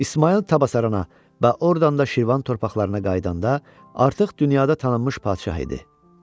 İsmayıl Təbəssərana və ordan da Şirvan torpaqlarına qayıdanda artıq dünyada tanınmış padşah idi.